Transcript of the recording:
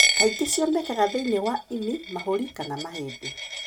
Kaingĩ cionekaga thĩinĩ wa ĩni, mahũri kana mahĩndĩ.